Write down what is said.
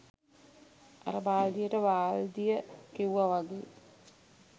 අර බාල්දියට වාල්දිය කිව්ව වගේ